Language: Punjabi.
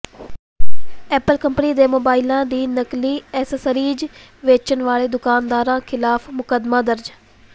ਐਪਲ ਕੰਪਨੀ ਦੇ ਮੋਬਾਈਲਾਂ ਦੀ ਨਕਲੀ ਅਸੈਸਰੀਜ਼ ਵੇਚਣ ਵਾਲੇ ਦੁਕਾਨਦਾਰਾਂ ਿਖ਼ਲਾਫ਼ ਮੁਕੱਦਮਾ ਦਰਜ